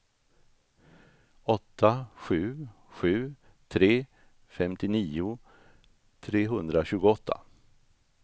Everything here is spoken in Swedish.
åtta sju sju tre femtionio trehundratjugoåtta